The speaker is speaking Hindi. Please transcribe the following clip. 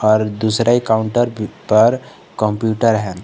पर दूसरे काउंटर पर कंप्यूटर है।